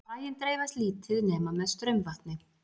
fræin dreifast lítið nema með straumvatni